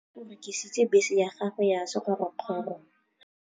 Malome o rekisitse bese ya gagwe ya sekgorokgoro.